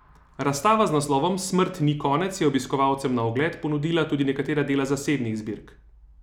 Razstava z naslovom Smrt ni konec je obiskovalcem na ogled ponudila tudi nekatera dela iz zasebnih zbirk.